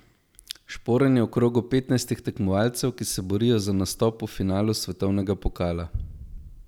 Šporn je v krogu petnajstih tekmovalcev, ki se borijo za nastop v finalu svetovnega pokala.